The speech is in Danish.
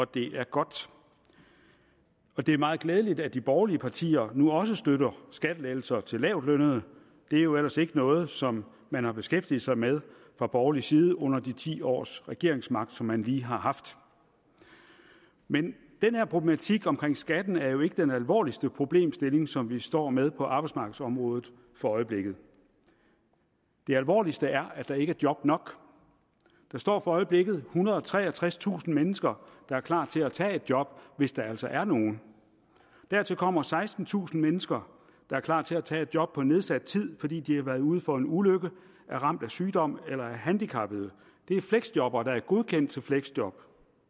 det er godt og det er meget glædeligt at de borgerlige partier nu også støtter skattelettelser til lavtlønnede det er jo ellers ikke noget som man har beskæftiget sig med fra borgerlig side under de ti års regeringsmagt som man lige har haft men den her problematik omkring skatten er jo ikke den alvorligste problemstilling som vi står med på arbejdsmarkedsområdet for øjeblikket det alvorligste er at der ikke er job nok der står for øjeblikket ethundrede og treogtredstusind mennesker der er klar til at tage et job hvis der altså er nogen dertil kommer sekstentusind mennesker der er klar til at tage et job på nedsat tid fordi de har været ude for en ulykke er ramt af sygdom eller er handicappede det er fleksjobbere der er godkendt til et fleksjob